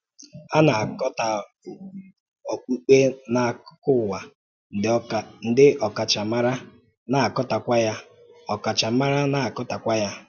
A na-akatọ okpukpe n’akụkọ ụwa, ndị ọkachamara na-akatọkwa ya. ọkachamara na-akatọkwa ya.